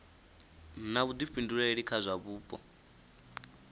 na vhuḓifhinduleli kha zwa vhupo